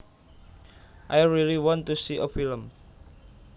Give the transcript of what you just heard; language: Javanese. I really want to see a film